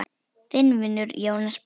Þinn vinur, Jónas Páll.